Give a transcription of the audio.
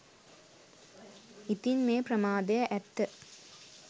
ඉතින් මේ ප්‍රමාදය ඇත්ත